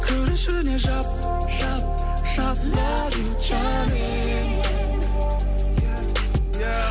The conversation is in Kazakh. кір ішіне жап жап жап лав ю джаним